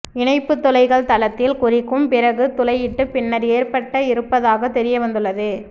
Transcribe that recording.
இணைப்பு துளைகள் தளத்தில் குறிக்கும் பிறகு துளையிட்டு பின்னர் ஏற்றப்பட்ட இருப்பதாகத் தெரியவந்துள்ளது